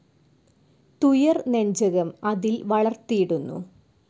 തുയർ നെഞ്ചകം അതിൽ വളർത്തീടുന്നു